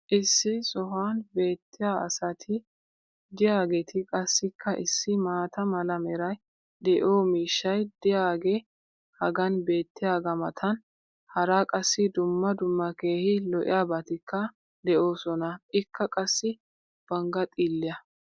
issi sohuwan beetiyaa asati diyaageeti qassikka issi maata mala meray de'iyo miishshay diyaagee hagan beetiyaagaa matan hara qassi dumma dumma keehi lo'iyaabatikka de'oosona. ikka qassi bangaa xiiliya.